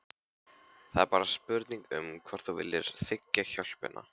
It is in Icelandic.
Það er bara spurning um hvort þú viljir þiggja hjálpina.